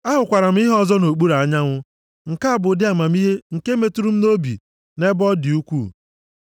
Ahụkwara m ihe ọzọ nʼokpuru anyanwụ, nke a bụ ụdị amamihe nke metụrụ m nʼobi nʼebe ọ dị ukwuu.